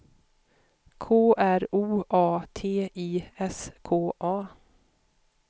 K R O A T I S K A